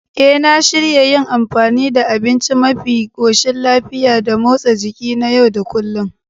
E, na shirya yin amfani da abinci mafi koshin lafiya da motsa jiki na yau da kullun.